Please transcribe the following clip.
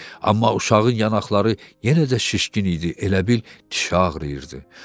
Amma uşağın yanaqları yenə də şişkin idi, elə bil dişi ağrıyırdı.